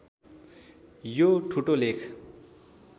यो ठुटो लेख